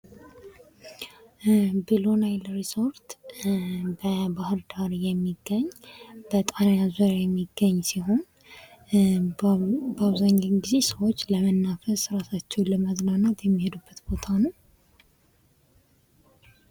ብሉ ናይል ሪሶርስ በባህር ዳር የሚገኝ በጣና ዙሪያ የሚገኝ ሲሆን በአብዛኛው ጊዜ ሰዎች ለመናፈስ፣ እራሳቸውን ለማዝናናት የሚሄዱበት ቦታ ነው ።